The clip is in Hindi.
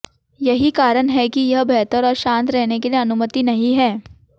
यही कारण है कि यह बेहतर और शांत रहने के लिए अनुमति नहीं है